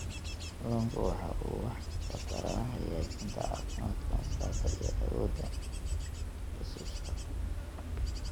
Kalluunku waxa uu wax ka taraa hagaajinta caafimaadka maskaxda iyo awoodda xusuusta.